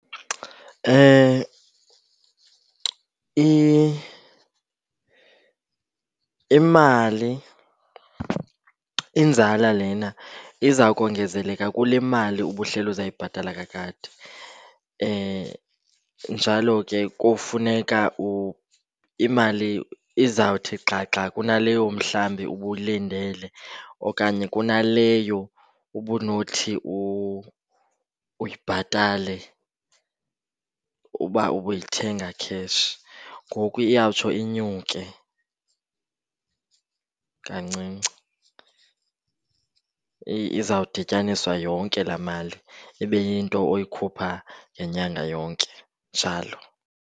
Imali, inzala lena iza kongezelelwa kule mali ubuhleli uzoyibhatala kakade. Njalo ke kufuneka imali izawuthi xhaxha kunaleyo mhlawumbi ubuyilindele okanye kunaleyo ubunothi uyibhatale uba ubuyithenga cash, ngoku iyawutsho inyuke kancinci. Iza kudityaniswa yonke laa mali ibe yinto oyikhupha ngenyanga yonke njalo.